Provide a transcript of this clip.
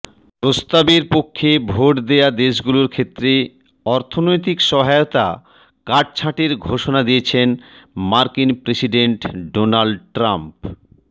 প্রস্তাবের পক্ষে ভোট দেয়া দেশগুলোর ক্ষেত্রে অর্থনৈতিক সহায়তা কাটছাঁটের ঘোষণা দিয়েছেন মার্কিন প্রেসিডেন্ট ডোনাল্ড ট্রাম্প